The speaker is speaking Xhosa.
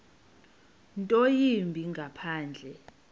nto yimbi ngaphandle